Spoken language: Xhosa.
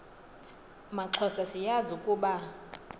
maxhosa siyazi ukuba